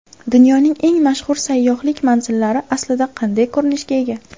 Dunyoning eng mashhur sayyohlik manzillari aslida qanday ko‘rinishga ega?.